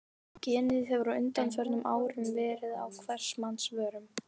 Genið hefur á undanförnum árum verið á hvers manns vörum.